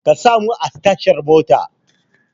Ka samo mu a tashar motan